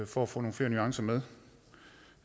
for at få nogle flere nuancer med